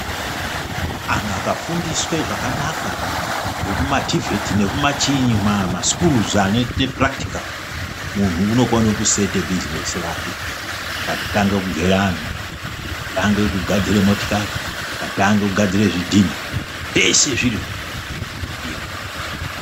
Antu akafundiswe zvakanaka zvekumativheti nekumachiinyi masikuruzi anoite purakitikali, munhu unokone kusete bhizinesi rake. Akatange kugera anhu, akatange kugadzire motikari, akatange kugadzire zvidhina , zveshe zviro izvi zvinodiwa.